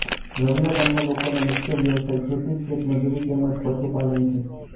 રવીયા ગામના લોકોનો મુખ્ય વ્યવસાય ખેતી ખેતમજૂરી તેમ જ પશુપાલન છે